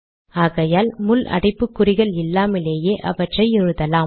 ஆகையால் முள் அடைப்புக்குறிகள் இல்லாமலே அவற்றை எழுதலாம்